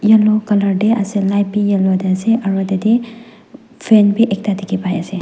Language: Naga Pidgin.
yellow colour tae ase light be yellow tae ase aro tatae fan bi ekta dikhipaiase.